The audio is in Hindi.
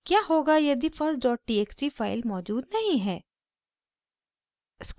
क्या होगा यदि firsttxt फाइल मौजूद नहीं है